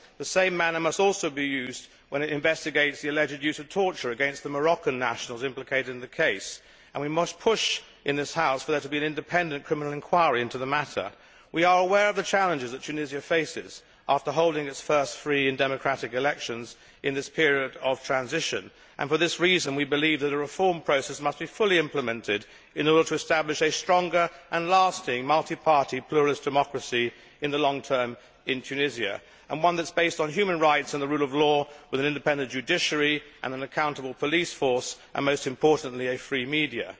The same manner must also be used when it investigates the alleged use of torture against the Moroccan nationals implicated in the case, and we must push in this House for there to be an independent criminal inquiry into the matter. We are aware of the challenges that Tunisia faces after holding its first free and democratic elections in this period of transition, and for this reason we believe that a reform process must be fully implemented in order to establish a stronger and lasting multi party pluralist democracy in the long term in Tunisia, and one that is based on human rights and the rule of law, with an independent judiciary and an accountable police force and, most importantly, a free media.